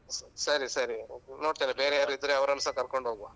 ಸರಿ ಸರಿ ನೋಡ್ತೇನೆ ಬೇರೆ ಯಾರು ಇದ್ರೆ ಅವರನ್ನುಸ ಕರ್ಕೊಂಡ್ ಹೋಗುವ.